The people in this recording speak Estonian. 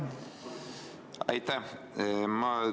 Aitäh!